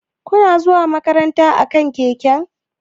Kuna zuwa makaranta akan keke?